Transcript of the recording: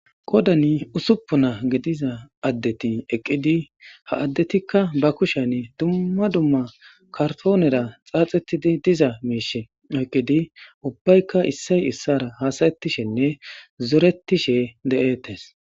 Qoddan ussuppun gidiza adeti eqqidi ha adetika be kushshan dumma dumma kartonera xaaxetida diza mishsha oyqqidi ubbayka issoy issora haasaetishenne zoretish dettes.